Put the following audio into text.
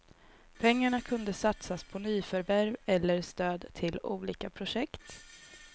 Pengarna kunde satsas på nyförvärv eller stöd till olika projekt.